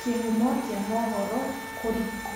Kĩhumo kĩa mohoro kũri kũ